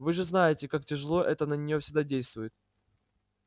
вы же знаете как тяжело это на нее всегда действует